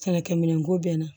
Sɛnɛkɛ minɛn ko bɛ n na